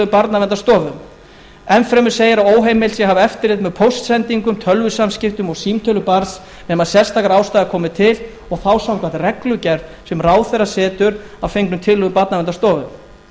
barnaverndarstofu enn fremur segir að óheimilt sé að hafa eftirlit með póstsendingum tölvusamskiptum og símtölum barns nema sérstakar ástæður komi til og þá samkvæmt reglugerð sem ráðherra setur að fengnum tillögum barnaverndarstofu